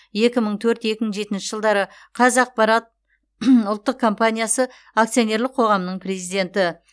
екі мың төрт екі мың жетінші жылдары қазақпарат ұлттық компаниясы акционерлік қоғамының президенті